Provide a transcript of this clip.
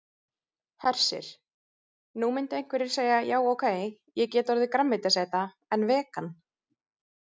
Hersir: Nú myndu einhverjir segja já ok, ég get orðið grænmetisæta en vegan?